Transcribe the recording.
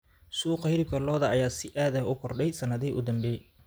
Suuqa xilibka lo'da ayaa si aad ah u kordhay sannadihii u dambeeyay.